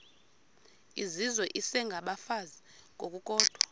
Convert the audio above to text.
izizwe isengabafazi ngokukodwa